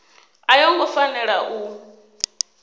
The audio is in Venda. a yo ngo fanela u